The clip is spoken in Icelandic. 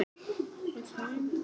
Það var í Finnlandi.